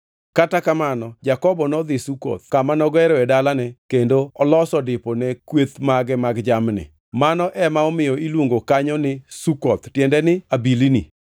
Kata kamano Jakobo nodhi Sukoth, kama nogeroe dalane kendo oloso dipo ne kweth mage mag jamni. Mano ema omiyo iluongo kanyo ni Sukoth (tiende ni abilni).